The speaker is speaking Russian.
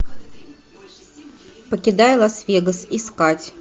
покидая лас вегас искать